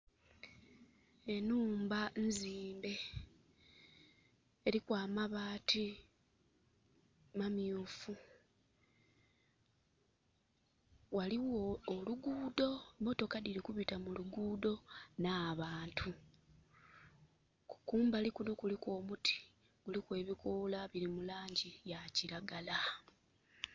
Enhumba nzimbe, eliku amabaati mamyuufu. Ghaligho oluguudo, motoka dhili kubita mu luguudo, n'abantu. Kumbali kuno kuliku omuti, kuliku ebikoola bili mu laangi ya kiragala.